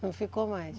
Não ficou mais.